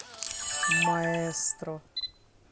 маэстро